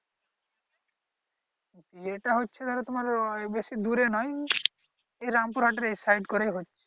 বিয়েটা হচ্ছে ধরো তোমার ওই বেশি দূরে নয় এই রামপুর হাটের এই সাইট করেই হচ্ছে